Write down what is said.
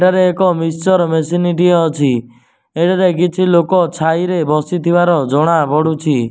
ଏଠାରେ ଏକ ମିକ୍ସଚର ମେସିନଟିଏ ଅଛି ଏଠାରେ କିଛି ଲୋକ ଛାଇରେ ବସି ଥିବାର ଜଣା ପଡ଼ୁଛି।